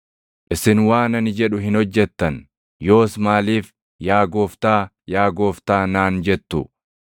“Isin waan ani jedhu hin hojjettan; yoos maaliif, ‘Yaa Gooftaa, yaa Gooftaa’ naan jettu?